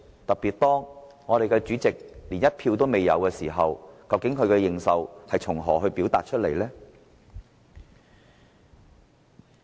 特別是當主席零票當選，究竟他的認受性從何而來？